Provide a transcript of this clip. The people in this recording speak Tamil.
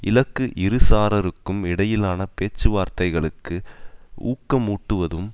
இலக்கு இரு சராருக்கும் இடையிலான பேச்சுவார்த்தைகளுக்கு ஊக்கமூட்டுவதும்